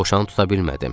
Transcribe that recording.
Dovşanı tuta bilmədim.